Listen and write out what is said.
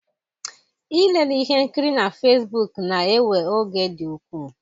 Ilele ihe nkiri na Fesbuku na-ewe oge dị ukwuu.